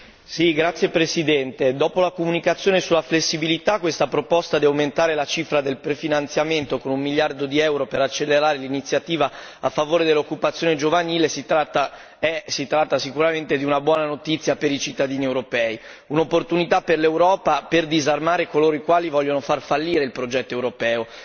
Signor Presidente, onorevoli colleghi, dopo la comunicazione sulla flessibilità, questa proposta di aumentare la cifra del prefinanziamento con 1 miliardo di euro per accelerare l'Iniziativa a favore dell'occupazione giovanile è sicuramente una buona notizia per i cittadini europei, un'opportunità per l'Europa per disarmare coloro i quali vogliono far fallire il progetto europeo.